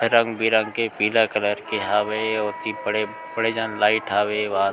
रंग बिरंग के पीला कलर के हवे और की पड़े-पड़े जन लाइट हवे वा --